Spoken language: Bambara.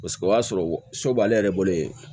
Paseke o y'a sɔrɔ so b'ale yɛrɛ bolo yen